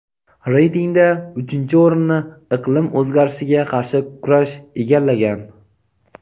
Reytingda uchinchi o‘rinni iqlim o‘zgarishiga qarshi kurash egallagan.